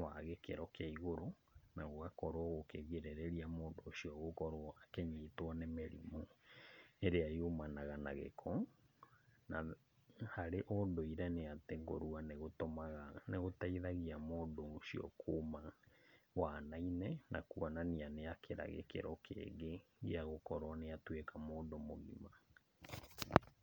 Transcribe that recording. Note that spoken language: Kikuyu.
wa gĩkĩro kĩa igũrũ mũno, na gũgakorwo gũkĩgirĩrĩria mũndũ ũcio gũkorwo akĩnyitwo nĩ mĩrimũ ĩrĩa yumanaga na gĩko. Na harĩ ũndũire, nĩ atĩ kũrua nĩgũtũmaga, nĩgũteithagia mũndũ ũcio kuma wana-inĩ na kuonania nĩakĩra gĩkĩro kĩngĩ gĩagũkorwo nĩ atuĩka mũndũ mũgima.